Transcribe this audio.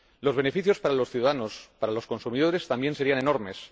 Los beneficios para los ciudadanos, para los consumidores, también serían enormes.